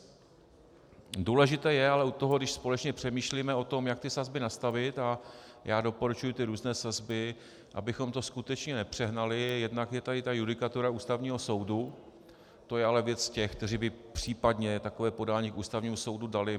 Důležité je ale u toho, když společně přemýšlíme o tom, jak ty sazby nastavit, a já doporučuji ty různé sazby, abychom to skutečně nepřehnali, jednak je tady ta judikatura Ústavního soudu, to je ale věc těch, kteří by případně takové podání k Ústavnímu soudu dali.